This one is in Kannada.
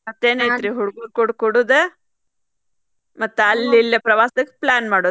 ಮತ್ತೇನಾಯಿತ್ರಿ ಹುಡಗುರ್ ಕುಡ್ ಕುಡುದ ಮತ್ತ್ ಅಲ್ಲೇ ಇಲ್ಲೇ ಪ್ರವಾಸಕ್ plan ಮಾಡುದ್.